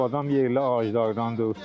Bu adam yerli ağaclardandır.